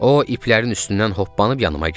O iplərin üstündən hoppanıb yanıma gəldi.